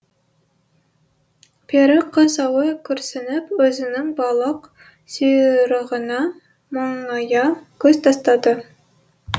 пері қыз ауыр күрсініп өзінің балық сұйрығына мұңая көз тастады